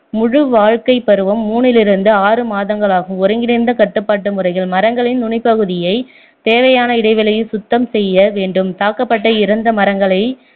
முழு வாழ்க்கைப் பருவம் மூணிலிருந்து ஆறு மாதங்களாகும் ஒருங்கிணைந்த கட்டுப்பாட்டு முறைகள் மரங்களின் நுனிப்பகுதியை தேவையான இடைவெளியில் சுத்தம் செய்ய வேண்டும் தாக்கப்பட்ட இறந்த மரங்களை